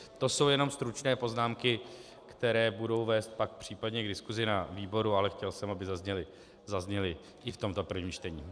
To jsou jenom stručné poznámky, které budou vést pak případně k diskusi na výboru, ale chtěl jsem, aby zazněly i v tomto prvním čtení.